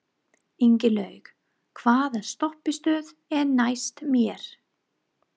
Ingilaug, hvaða stoppistöð er næst mér?